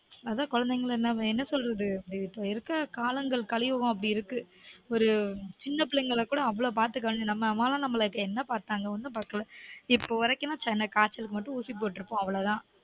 அதா கொழந்தைங்கள நாம என்ன சொல்றது இருக்கற காலங்கள் கலியுகம் அப்படி இருக்கு ஒரு சின்ன பிள்ளைகள கூட அவ்ளோ பாத்துக்க வேண் நம்ம அம்மாலாம் நம்மல என்ன பாத்தாங்க? ஒன்னும் பாக்கல இப்போ வரைக்கும்லாம் காய்ச்சல்க்கு மட்டும் ஊசி போட்டிருப்போம் அவ்ளோதா